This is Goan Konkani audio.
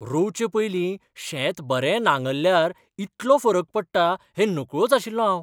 रोवचें पयलीं शेत बरें नांगरल्यार इतलो फरक पडटा हें नकळोच आशिल्लों हांव.